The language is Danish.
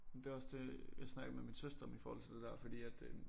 Men det også det jeg snakkede med min søster om i forhold til det der fordi at øh